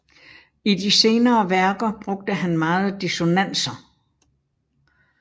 I de senere værker brugte han meget dissonanser